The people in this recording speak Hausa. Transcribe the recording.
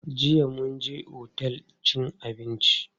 Jiya mun je otel cin abinci.